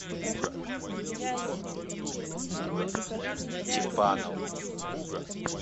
чепанов